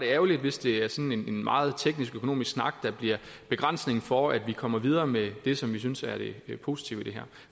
er ærgerligt hvis det er sådan en meget teknisk økonomisk snak der bliver begrænsningen for at vi kommer videre med det som vi synes er det positive i det her